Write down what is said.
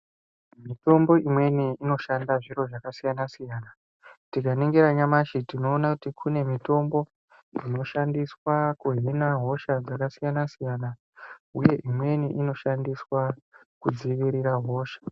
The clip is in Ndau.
Mitombo imweni inoshanda zviro zvakasiyana siyana. Tikaningira nyamashi tinoona kuti kune mitombo inoshandiswa kuhina hosha dzakasiyana siyana uye imweni inoshandiswa kudzivirira hosha.